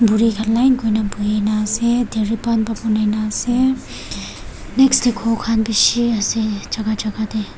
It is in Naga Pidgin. buri khan line kuri na bohi na ase tiripan next teh ghor khan bhishi ase jaga jaga teh.